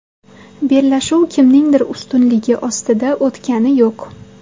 Bellashuv kimningdir ustunligi ostida o‘tgani yo‘q.